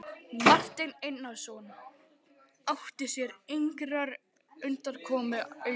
Marteinn Einarsson átti sér engrar undankomu auðið.